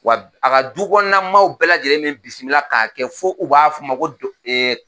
Wa a ka du kɔnɔna maaw bɛɛ lajɛlen be n bisimila k'a kɛ fo u b'a fɔ n ma ko